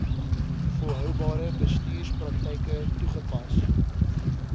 volhoubare bestuurspraktyke toegepas